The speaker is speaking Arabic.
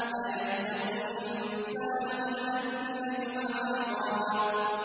أَيَحْسَبُ الْإِنسَانُ أَلَّن نَّجْمَعَ عِظَامَهُ